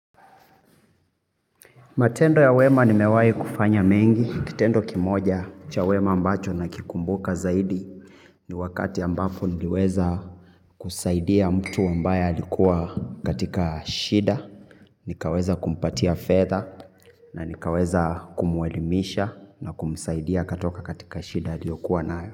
Matendo ya wema nimewai kufanya mengi, kitendo kimoja cha wema ambacho na kukumbuka zaidi ni wakati ambapo niliweza kusaidia mtu ambaye alikua katika shida, nikaweza kumpatia fedha na nikaweza kumuelimisha na kumsaidia katoka katika shida aliyokuwa nayo.